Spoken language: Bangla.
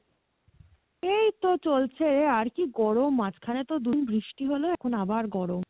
এইই তো চলছে, আর কি গরম, মাজখানে তো বৃষ্টি হলো এখন আবার গরম